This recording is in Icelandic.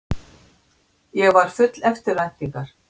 Ég var full eftirvæntingar.